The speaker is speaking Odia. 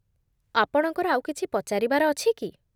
ଆପଣଙ୍କର ଆଉ କିଛି ପଚାରିବାର ଅଛି କି?